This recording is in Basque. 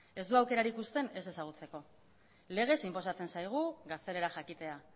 ez du aukerarik usten ez ezagutzeko legez inposatzen zaigu gaztelera jakitea